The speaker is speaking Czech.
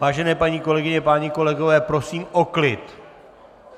Vážené paní kolegyně, páni kolegové, prosím o klid.